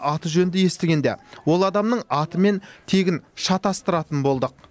аты жөнді естігенде ол адамның аты мен тегін шатасыратын болдық